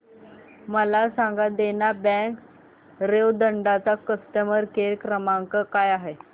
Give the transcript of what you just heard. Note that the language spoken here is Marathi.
मला सांगा देना बँक रेवदंडा चा कस्टमर केअर क्रमांक काय आहे